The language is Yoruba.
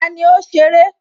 Tani ó ṣeré?